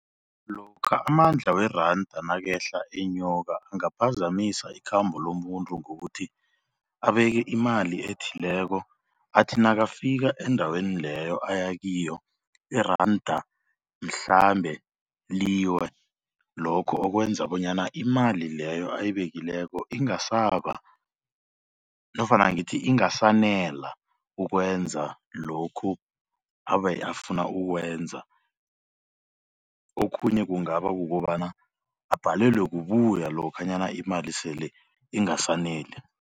Lokha amandla weranda nakehla enyuka angaphazamisa ikhambo lomuntu ngokuthi abeke imali ethileko athi nakafika endaweni leyo aya kiyo iranda mhlambe liwe lokho okwenza bonyana imali leyo ayibekileko ingasaba nofana ngithi ingasanela ukwenza lokhu abe afuna ukukwenza. Okhunye kungaba kukobana abhalelwe kubuya lokhanyana imali sele ingasaneli.